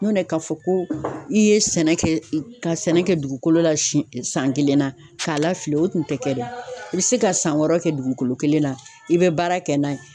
Ɲɔntɛ tɛ k'a fɔ ko i ye sɛnɛ kɛ ka sɛnɛ kɛ dugukolo la sɛn san kelen na k'a la fili o kun te kɛ dɛ i be se ka san wɔɔrɔ kɛ dugukolo kelen na i bɛ baara kɛ n'a ye